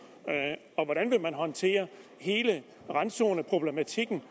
og hvordan vil man håndtere hele randzoneproblematikken